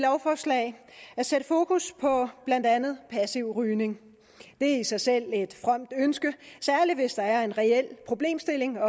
lovforslag at sætte fokus på blandt andet passiv rygning det er i sig selv et fromt ønske særlig hvis der er en reel problemstilling